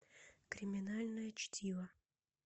криминальное чтиво